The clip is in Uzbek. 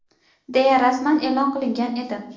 deya rasman e’lon qilingan edi.